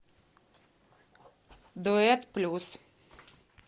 дуэт плюс